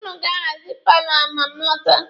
Ụnụ ga-ahazi paalọ a ma m lọta.